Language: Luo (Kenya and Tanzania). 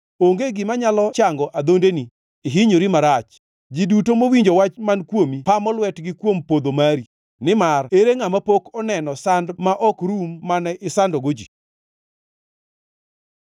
Onge gima nyalo chango adhondeni, ihinyori marach. Ji duto mowinjo wach man kuomi pamo lwetgi kuom podho mari, nimar ere ngʼama pok oneno sand ma ok rum mane isandogo ji?